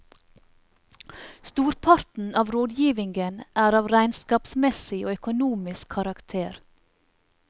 Storparten av rådgivningen er av regnskapsmessig og økonomisk karakter.